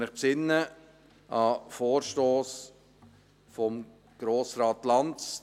Sie erinnern sich an den Vorstoss von Grossrat Lanz: